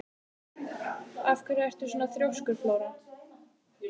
Af hverju ertu svona þrjóskur, Flóra?